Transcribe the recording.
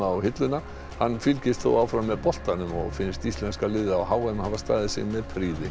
á hilluna hann fylgist þó áfram með boltanum og finnst íslenska liðið á h m hafa staðið sig með prýði